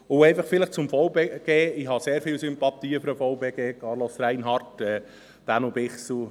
Vielleicht noch etwas zum VBG: Ich habe sehr grosse Sympathien für den VBG, Carlos Reinhard, Daniel Bichsel.